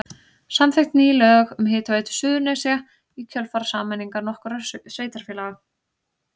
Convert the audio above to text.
Samþykkt ný lög um Hitaveitu Suðurnesja í kjölfar sameiningar nokkurra sveitarfélaga.